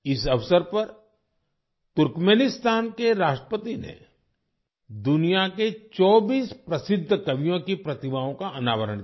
इस अवसर पर तुर्कमेनिस्तान के राष्ट्रपति ने दुनिया के 24 प्रसिद्ध कवियों की प्रतिमाओं का अनावरण किया